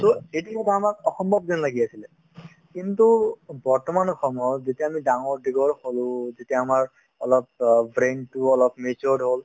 to এইটো কিন্তু পঢ়া সময়ত অসম্ভৱ যেন লাগি আছিলে কিন্তু বৰ্তমান সময়ত যেতিয়া আমি ডাঙৰ-দীঘল হ'লো তেতিয়া আমাৰ অলপ অ brain তো অলপ matured হ'ল